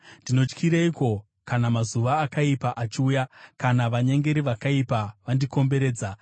Ndinotyireiko kana mazuva akaipa achiuya, kana vanyengeri vakaipa vandikomberedza,